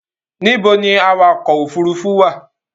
Níbo ni awakọ̀ òfurufú wà?